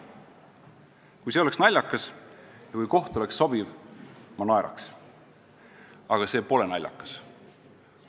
Kui see oleks naljakas ja kui koht oleks sobiv, siis ma naeraks, aga see pole naljakas.